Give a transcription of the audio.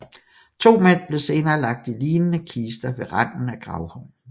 To mænd blev senere lagt i lignende kister ved randen af gravhøjen